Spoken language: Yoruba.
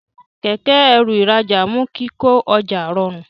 Kẹ̀kẹ́-ẹrù ìrajà mú kíkọ ọjà rọrun.